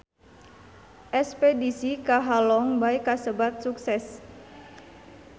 Espedisi ka Halong Bay kasebat sukses